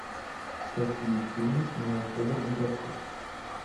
какие фильмы снимал федор бондарчук